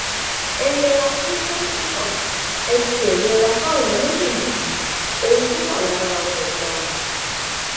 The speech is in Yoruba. ẹ yẹra fún ṣèǹtẹtò ẹ tiẹ yẹra fáwọn olóṣèlú yìí ohun tó wà lára wọn ò dáa